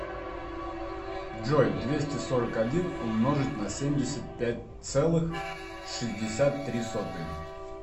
джой двести сорок один умножить на семьдесят пять целых шестьдесят три сотые